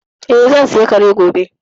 Eh, zan saya Kare gobe